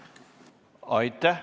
Aitäh!